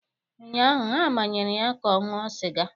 Ụnyaahụ, ha manyere ya ka ọ ṅụọ sịga.